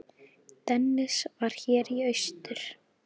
Dennis var hér í austur.